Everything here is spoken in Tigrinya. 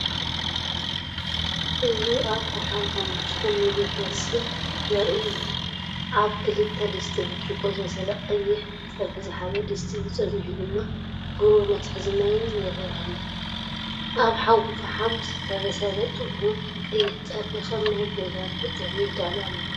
እዚ ኣብ ፋሓም ሓሙኽሽትን ምግቢ ክብሰል ዘርኢ እዩ። ኣብ ክልተ ድስቲ ብርጭቆ ዝበሰለ ቀይሕ ፀብሒዝሓዘ ድስቲ እዩ። ጸኒሑ ድማ ብሩር መትሓዚ ማይን ይረአ አሎ። ኣብ ሓዊ ፈሓም ዝተበሰለ ጥዑም ቀይሕ ፀብሒ ከም ናይ ገዛ ንኽጥዕም ይዳሎ ኣሎ።